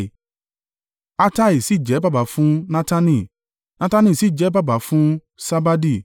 Attai sì jẹ́ baba fún Natani, Natani sì jẹ́ baba fún Sabadi,